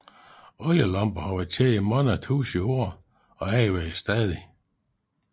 Olielamper har været kendt i mange tusinde år og anvendes stadig